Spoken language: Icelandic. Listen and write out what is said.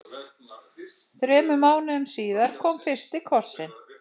Þremur mánuðum síðar kom fyrsti kossinn.